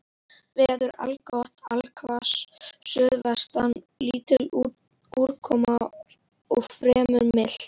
Veður allgott allhvass suðaustan lítil úrkoma og fremur milt.